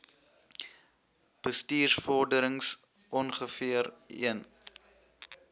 bestuursvorderings ongeveer een